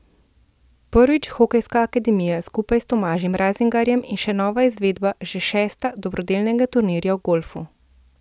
Prvič Hokejska akademija skupaj s Tomažem Razingarjem in še nova izvedba, že šesta, dobrodelnega turnirja v golfu.